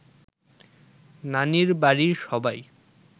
নানির বাড়ির সবাই